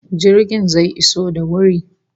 Jirgin zai iso da wuri